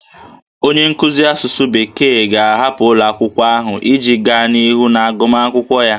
Onye nkuzi asụsụ bekee ga-ahapụ ụlọ akwụkwọ ahụ iji gaa n'ihu n'agụmakwụkwọ ya